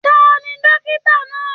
Tani dókítà náà?